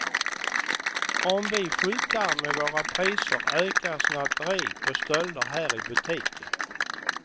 Om vi skyltar med våra priser ökar snatteri och stölder här i butiken.